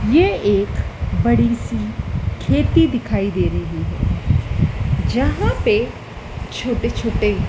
ये एक बड़ी सी खेती दिखाई दे रही है जहाँ पे छोटे छोटे --